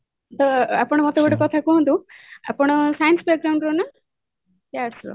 ତ ଆପଣ ମତେ ଗୋଟେ କଥା କୁହନ୍ତୁ ଆପଣ science ର ନା arts ର